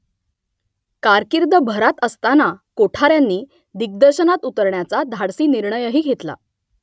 कारकीर्द भरात असताना कोठाऱ्यांनी दिग्दर्शनात उतरण्याचा धाडसी निर्णयही घेतला